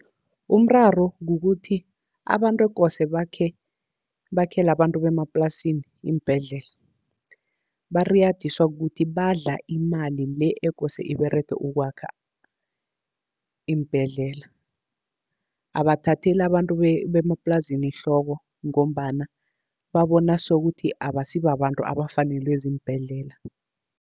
Umraro kukuthi abantu ekose bakhele abantu bemaplasini iimbhedlela, bariyadiswa kukuthi badla imali le ekose iberege ukwakha iimbhedlela. Abathatheli abantu bemaplasini ehloko, ngombana babona sokuthi abasi babantu abafanelwe ziimbhedlela.